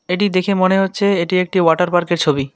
এটি দেখে মনে হচ্ছে এটি একটি ওয়াটার পার্কের ছবি।